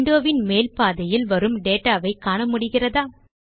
window வின் மேல் பாதியில் வரும் dataவை காண முடிகிறதா